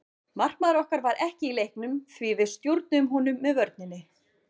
Markmaður okkar var ekki í leiknum því við stjórnuðum honum með vörninni.